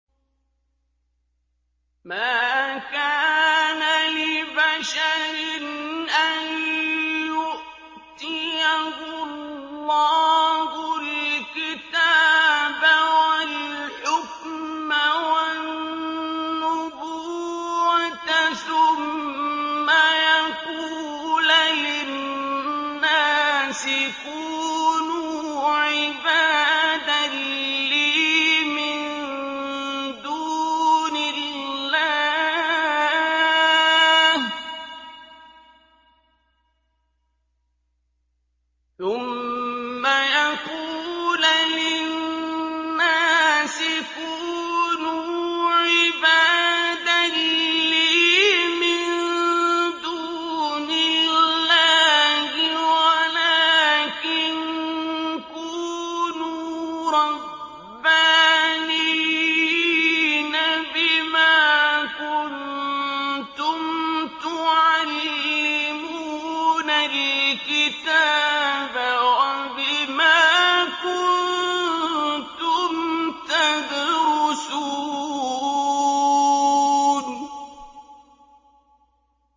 مَا كَانَ لِبَشَرٍ أَن يُؤْتِيَهُ اللَّهُ الْكِتَابَ وَالْحُكْمَ وَالنُّبُوَّةَ ثُمَّ يَقُولَ لِلنَّاسِ كُونُوا عِبَادًا لِّي مِن دُونِ اللَّهِ وَلَٰكِن كُونُوا رَبَّانِيِّينَ بِمَا كُنتُمْ تُعَلِّمُونَ الْكِتَابَ وَبِمَا كُنتُمْ تَدْرُسُونَ